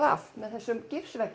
af með þessum